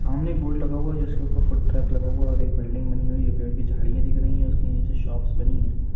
सामने एक बोर्ड लगा हुवा हैं जिस के ऊपर फूड ट्रैक लगा हुआ हैं और एक बिल्डिंग बनी हुई हैं ये पेड़ की झाड़ियाँ दिख रही हैं उसके नीचे शॉप्स बनी हैं।